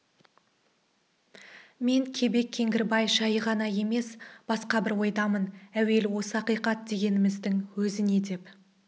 мен кебек кеңгірбай жайы ғана емес басқа бір ойдамын әуелі осы ақиқат дегеніміздің өзі не деп